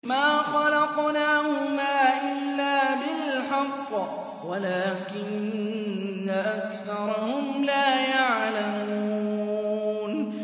مَا خَلَقْنَاهُمَا إِلَّا بِالْحَقِّ وَلَٰكِنَّ أَكْثَرَهُمْ لَا يَعْلَمُونَ